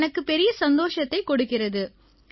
இது எனக்கு பெரிய சந்தோஷத்தைக் கொடுக்கிறது